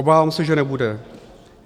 Obávám se, že nebude.